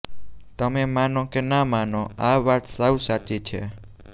તમે માનો કે ના માનો આ વાત સાવ સાચી છે